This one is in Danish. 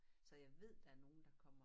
Så jeg ved der er nogen der kommer